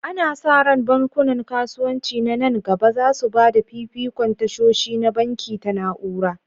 Ana sa ran bankunan kasuwanci na nan gaba za su ba da fifikon tashoshi na banki ta na'ura.